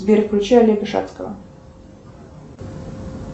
сбер включи олега шацкого